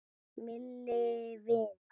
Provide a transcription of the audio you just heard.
Milli vina.